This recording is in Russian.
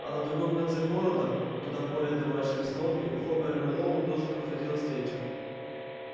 а на другом конце города куда более домашней обстановке у хобера мэллоу тоже проходила встреча